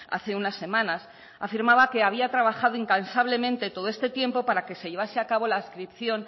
hace unas semanas afirmaba que había trabajado incansablemente todo este tiempo para que se llevase a cabo la adscripción